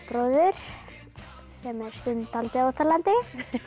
er stundum dáldið óþolandi